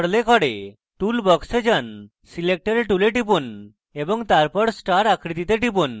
tool box এ যান selector tool টিপুন এবং তারপর star আকৃতিতে টিপুন